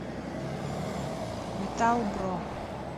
металлбро